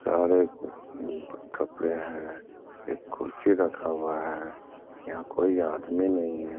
सारे अ कपड़े हैं | एक कुर्सी रखा हुआ है | यहाँ कोई आदमी नहीं है ।